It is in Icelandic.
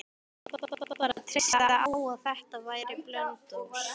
Hann varð bara að treysta á að þetta væri Blönduós.